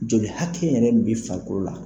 Joli hakɛ yɛrɛ de bɛ farikolo la.